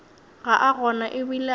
ga a gona ebile a